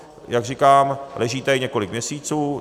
Jak říkám, leží tady několik měsíců.